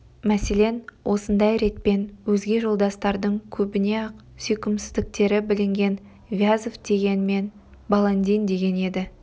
мәселен осындай ретпен өзге жолдастардың көбіне-ақ сүйкімсіздіктері білінген вязов деген мен баландин деген еді